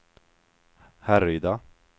Härryda